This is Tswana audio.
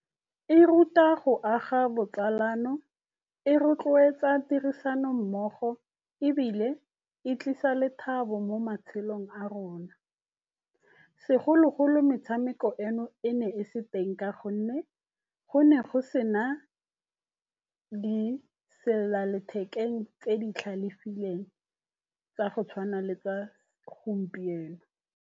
E ruta go aga botsalano, e rotloetsa tirisanommogo ebile e tlisa lethabo mo matshelong a rona. Segologolo metshameko eno e ne e se teng ka gonne go ne go sena diselelalethekeng tse di tlhalefileng tsa go tshwana le tsa gompieno.